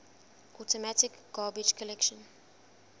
automatic garbage collection